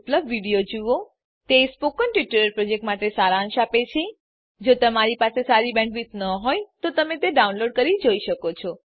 httpspoken tutorialorg What is a Spoken Tutorial તે spoken tutorial પ્રોજેક્ટનો સારાંશ આપે છે જો તમારી બેન્ડવિડ્થ સારી ન હોય તો તમે ડાઉનલોડ કરી તે જોઈ શકો છો